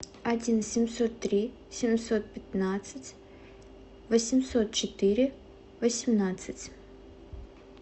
один семьсот три семьсот пятнадцать восемьсот четыре восемнадцать